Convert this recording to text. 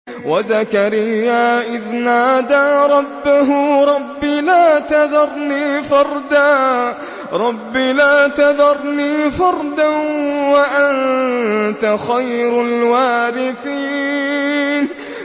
وَزَكَرِيَّا إِذْ نَادَىٰ رَبَّهُ رَبِّ لَا تَذَرْنِي فَرْدًا وَأَنتَ خَيْرُ الْوَارِثِينَ